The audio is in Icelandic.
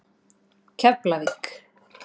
Keflavík